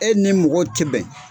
E ni mɔgɔw te bɛn